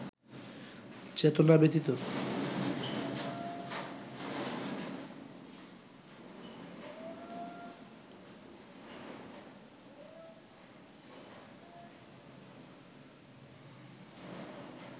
চেতনা ব্যতীত